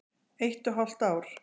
Eitt og hálft ár.